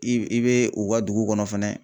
I i bɛ u ka dugu kɔnɔ fɛnɛ